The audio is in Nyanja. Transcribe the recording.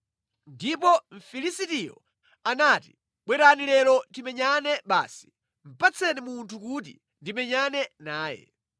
Ndipo Mfilisitiyo anati, “Bwerani lero timenyane basi! Patseni munthu kuti ndimenyane naye.”